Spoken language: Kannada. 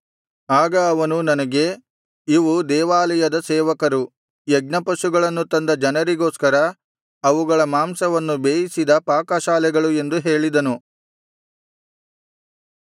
ಆಗ ಅವನು ನನಗೆ ಇವು ದೇವಾಲಯದ ಸೇವಕರು ಯಜ್ಞಪಶುಗಳನ್ನು ತಂದ ಜನರಿಗೋಸ್ಕರ ಅವುಗಳ ಮಾಂಸವನ್ನು ಬೇಯಿಸಿದ ಪಾಕಶಾಲೆಗಳು ಎಂದು ಹೇಳಿದನು